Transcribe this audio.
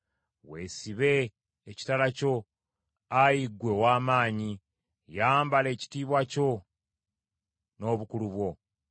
Weesibe ekitala kyo, Ayi ggwe ow’amaanyi, yambala ekitiibwa kyo n’obukulu bwo!